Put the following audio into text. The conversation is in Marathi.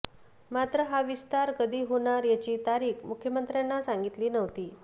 मात्र हा विस्तार कधी होणार याची तारीख मुख्यमंत्र्यांना सांगितली नव्हती